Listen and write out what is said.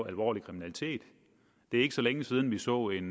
alvorlig kriminalitet det er ikke så længe siden vi så en